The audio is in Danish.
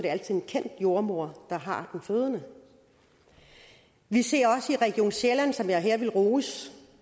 er en kendt jordemoder der har den fødende vi ser også i region sjælland som jeg her vil rose